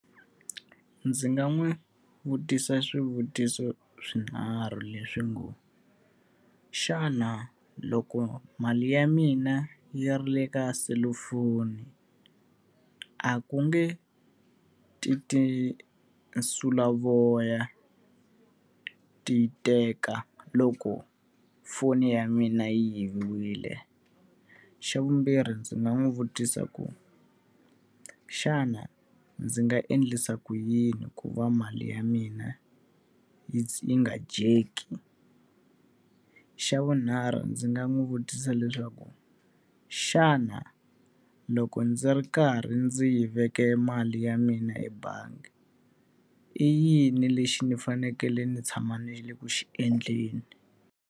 Ndzi nga n'wi vutisa swivutiso swinharhu leswi ngo, xana loko mali ya mina yi ri le ka selufoni a ku nge ti tinsulavoya ti teka loko foni ya mina yi yiviwile? Xa vumbirhi ndzi nga n'wi vutisa ku xana ndzi nga endlisa ku yini ku va mali ya mina yi yi nga dyeki? Xa vunharhu ndzi nga n'wi vutisa leswaku xana loko ndzi ri karhi ndzi yi veka mali ya mina ebangi, i yini lexi ni fanekele ni tshama ni ri ku xi endleni?